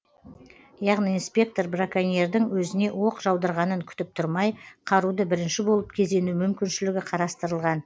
яғни инспектор браконьердің өзіне оқ жаудырғанын күтіп тұрмай қаруды бірінші болып кезену мүмкіншілігі қарастырылған